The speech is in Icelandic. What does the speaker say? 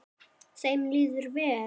Þeim líður vel.